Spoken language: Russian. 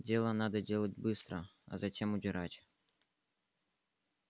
дело надо делать быстро а затем удирать